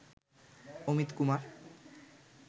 Amit Kumar